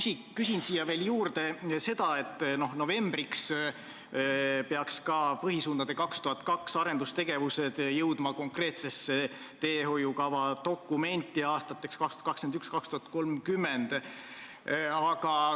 Ma küsin siia juurde veel seda, et novembriks peaks seniste põhisuundadega ettenähtud arendustegevused jõudma konkreetsesse teehoiukavva aastateks 2021–2030.